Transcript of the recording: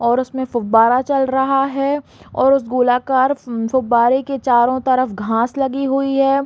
और उसमे फुब्बारा चल रहा है और उस गोलाकार फुब्बारे के चारो तरफ घास लगी हुई है।